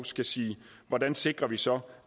skal sige hvordan sikrer vi så